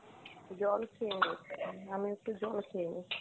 জল খেয়ে নে, আমিও একটু জল খেয়ে নি।